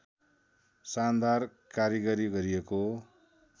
शानदार कारिगरी गरिएको